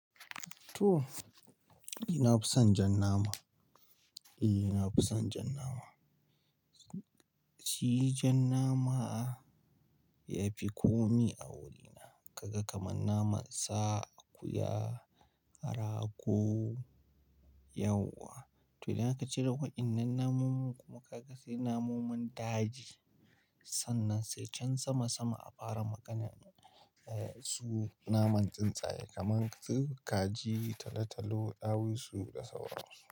To! Ni na fi son jan nama. E, ni na fi son jan nama. Shi jan nama ya fi komi a wurina. Kaga kamar naman sa akuya, rago, yawwa. To idan aka cire waɗannan namomomin kuma ka ga sai namomomin daji, sannan sai can sama sama a fara magana. Eh, su naman tsuntsaye kaman su kaji, talotalo, ɗawisu da sauransu.